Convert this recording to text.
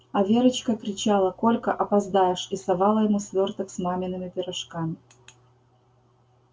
а верочка кричала колька опоздаешь и совала ему свёрток с мамиными пирожками